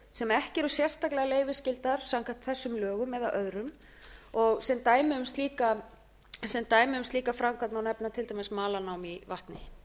sem ekki eru sérstaklega leyfisskyldar samkvæmt þessumlögum eða öðrum sem dæmi um slíka framkvæmd má nefna til dæmis malarnám í vatni